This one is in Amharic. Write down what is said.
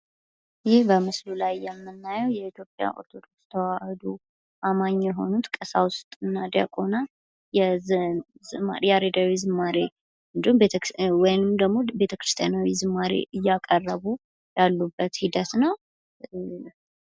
ይህ በምስሉ ላይ የምናየው የኢትዮጵያ ኦርቶዶክስ ተዋህዶ አማኝ የሆኑት ቀሳዉስት እና ዲያቆናት ያሬዳዊ ዝማሬ ወይንም ደግሞ ቤተክርስቲያናዊ ሽማረ እያቀረቡ ያሉበት ሂደት ነው::